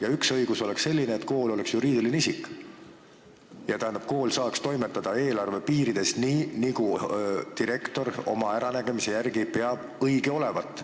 Ja üks õigus oleks selline, et kool oleks juriidiline isik ja kool saaks toimetada eelarve piirides, nii nagu direktor oma äranägemise järgi arvab õige olevat.